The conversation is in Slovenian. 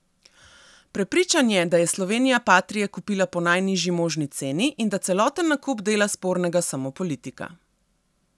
Prepričan je, da je Slovenija patrie kupila po najnižji možni ceni in da celoten nakup dela spornega samo politika.